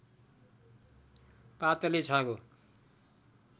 पातले छाँगो